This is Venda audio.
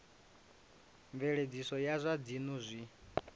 mveledziso ya zwa dzinnu zwi